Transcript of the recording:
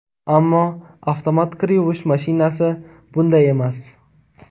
Ammo avtomat kir yuvish mashinasi bunday emas.